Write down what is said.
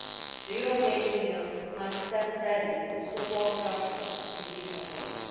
The European Union must stand ready to support Russia in these efforts.